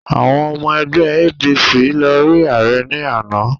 Àwọn ọmọ ẹgbẹ́ APC lọ rí ààrẹ ní àná